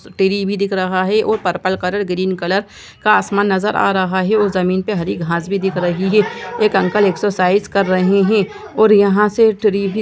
भी दिख रहा है और पर्पल कलर ग्रीन कलर का आसमान नजर आ रहा है और जमीन पर हरी घास भी दिख रही है एक अंकल एक्सरसाइज कर रहे हैं और यहाँ से ट्री भी--